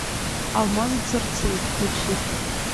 алмазы цирцеи включи